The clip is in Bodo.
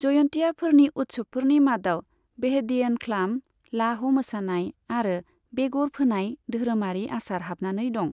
जयन्तियाफोरनि उत्सबफोरनि मादाव बेहदीएनख्लाम, लाह' मोसानाय आरो बेगर फोनाय धोरोमारि आसार हाबनानै दं।